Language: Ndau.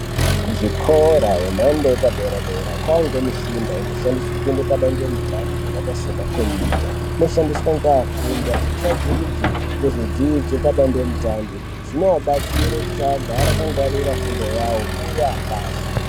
Kuzvikora yemhando yepadera dera kwakuwanikwa mishina inoshandiswa kuenda padande mutande yakaita semakombiyuta inoshandiswa nevafundi vachitsvagurudza ngezvedzidzo padande mutande zvinovabatsira kuti igare akangwarire fundo yawo uye apase.